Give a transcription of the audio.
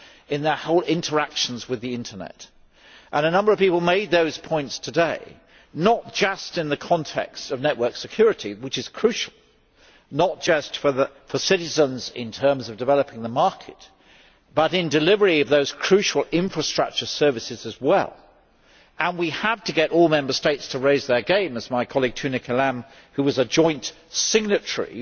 in the whole of their interactions with the Internet. A number of people made those points today, not just in the context of network security, which is crucial not just for citizens in terms of developing the market but in delivery of those crucial infrastructure services as well, and we had to get all Member States to raise their game, as my colleague Tunne Kelam who was a joint signatory